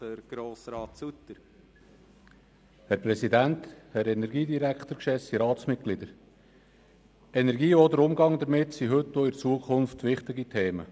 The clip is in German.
Die Energie sowie auch der Umgang damit sind heute und auch in Zukunft wichtige Themen.